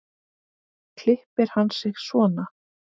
Klippir hann sig svona.